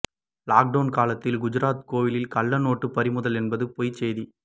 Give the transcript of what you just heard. lockdown காலத்தில் குஜராத் கோவிலில் கள்ள நோட்டு பறிமுதல் என்பது பொய் செய்தி